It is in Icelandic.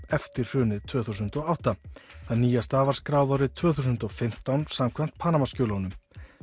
eftir hrunið tvö þúsund og átta það nýjasta var skráð árið tvö þúsund og fimmtán samkvæmt Panamaskjölunum